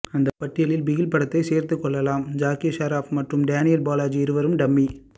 அந்த பட்டியலில் பிகில் படத்தையும் சேர்த்து கொள்ளலாம் ஜாக்கி ஷெராப் மற்றும் டேனியல் பாலாஜி இருவரும் டம்மி